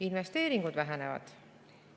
Investeeringud vähenevad.